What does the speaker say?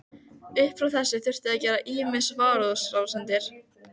Upp frá þessu þurfti að gera ýmsar varúðarráðstafanir.